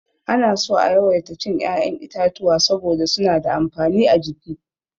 Ana so a yawaita cin ya'yan itatuwa saboda suna da amfani a jiki.